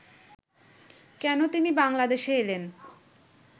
কেন তিনি বাংলাদেশে এলেন